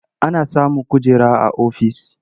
Ana samun kujera a ofis.